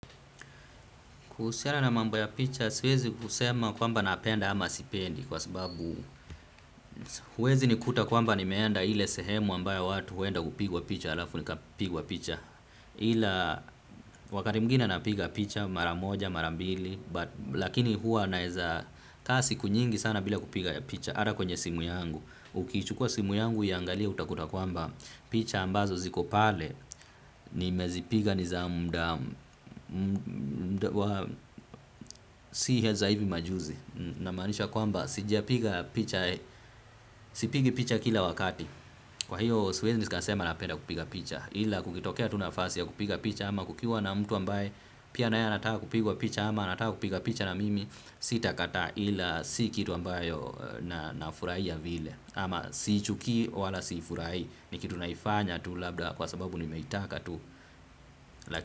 Kuhusiana na mambo ya picha, siwezi kusema kwamba napenda ama sipendi kwa sababu huwezi nikuta kwamba nimeenda ile sehemu ambayo watu huenda kupigwa picha halafu nikapigwa picha. Ila wakati mwingine napiga picha mara moja marambili. Lakini huwa naeza kaa siku nyingi sana bila kupiga picha. Ata kwenye simu yangu, ukichukua simu yangu uiangalie utakuta kwamba picha ambazo ziko pale nimezipiga ni za muda. Si za hivi majuzi. Namaanisha kwamba sijapiga picha. Sipigi picha kila wakati. Kwa hiyo siwezi nikasema napenda kupiga picha. Ila kukitokea tu nafasi ya kupiga picha ama kukiwa na mtu ambaye pia naye anataka kupigwa picha. Ama anataka kupiga picha na mimi. Sitakataa ila si kitu ambayo na furahia vile. Ama siichukii wala siifurahi. Ni kitu naifanya tu labda kwa sababu nimeitaka tu.